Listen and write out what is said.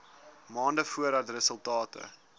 maande voordat resultate